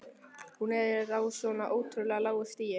Hún er á svo ótrúlega lágu stigi.